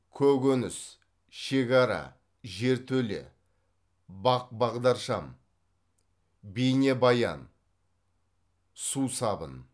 көкөніс шекара жертөле бақ бағдаршам бейнебаян сусабын